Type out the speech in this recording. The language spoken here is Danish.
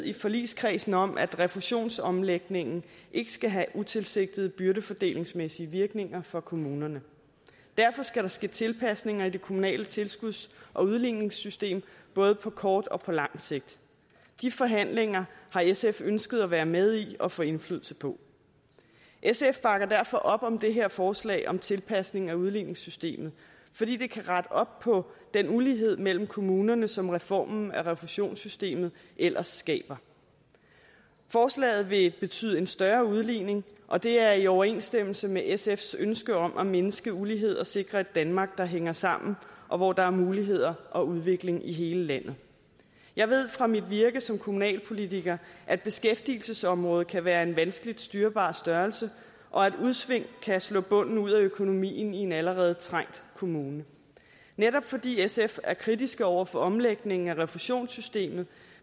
i forligskredsen er enighed om at refusionsomlægningen ikke skal have utilsigtede byrdefordelingsmæssige virkninger for kommunerne derfor skal der ske tilpasninger i det kommunale tilskuds og udligningssystem både på kort og på lang sigt de forhandlinger har sf ønsket at være med i og få indflydelse på sf bakker derfor op om det her forslag om tilpasninger af udligningssystemet fordi det kan rette op på den ulighed mellem kommunerne som reformen af reduktionssystemet ellers skaber forslaget vil betyde en større udligning og det er i overensstemmelse med sfs ønske om at mindske ulighed og sikre et danmark der hænger sammen og hvor der er muligheder og udvikling i hele landet jeg ved fra mit virke som kommunalpolitiker at beskæftigelsesområdet kan være en vanskeligt styrbar størrelse og at udsving kan slå bunden ud af økonomien i en allerede trængt kommune netop fordi sf er kritiske over for omlægningen af refusionssystemet